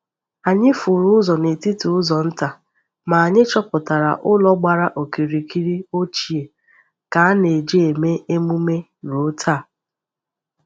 Anyị furu ụzọ n’etiti ụzọ nta, ma anyị chọpụtara ụlọ gbara okirikiri ochie ka a na-eji eme emume ruo taa.